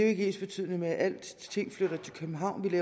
ikke ensbetydende med at alt flytter til københavn vi